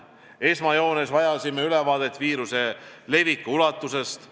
Esmajoones vajasime ülevaadet viiruse leviku ulatusest.